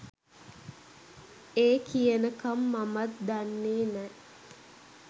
ඒ කියනකම් මමත් දන්නේ නෑ.